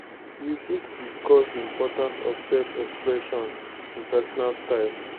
you fit discuss di importance of self-expression in pesinal style.